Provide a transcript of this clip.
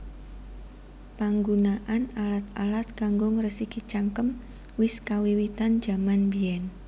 Panggunaan alat alat kanggo ngresiki cangkem wis kawiwitan jaman mbièn